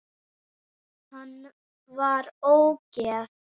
Hann var ógeð!